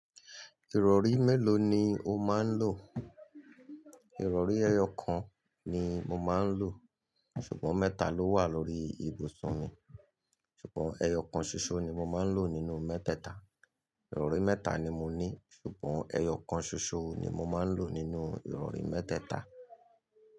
Ìrọ̀rí mélòó ni o máa ń lò? Ìrọ̀rí ẹyọ kan ni mo máa ń lò, ṣùgbọ́n mẹ́ta ló wà lórí ibùsùn mi. Ṣùgbọ́n ẹyọ kan ṣoṣo ni mo máa ń lò nínú mẹ́tẹ̀ẹ̀ta. Ìrọ̀rí mẹ́ta ni mo ní, ṣùgbọ́n ẹyọ kan ṣoṣo ni mo máa ń lò nínú ìrọ̀rí mẹ́tẹ̀ẹ̀ta.